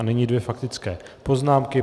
A nyní dvě faktické poznámky.